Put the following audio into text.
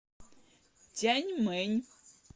тяньмэнь